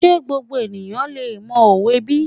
Ṣé gbogbo èèyàn lè mọ òwe bí?